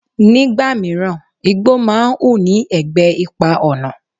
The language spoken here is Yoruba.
Nígbà míràn, igbó máa ń hù ní ẹ̀gbẹ́ ipa ọ̀nà.